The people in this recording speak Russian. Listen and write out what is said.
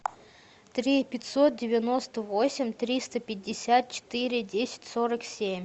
три пятьсот девяносто восемь триста пятьдесят четыре десять сорок семь